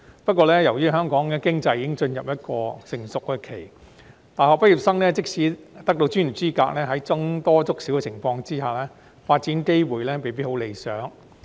不過，由於香港經濟已進入成熟期，大學畢業生即使得到專業資格，在僧多粥少的情況下，發展機會未必很理想。